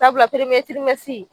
Sabula